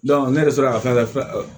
ne yɛrɛ sera ka fɛn fɛn